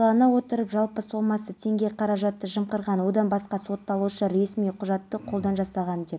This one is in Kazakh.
біреулері ер адамның мас болып өзі не істеп жатқанын түсінбеген болар деп жазып жатыр сондай-ақ